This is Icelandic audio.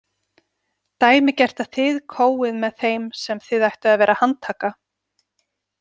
Dæmigert að þið kóið með þeim sem þið ættuð að vera að handtaka.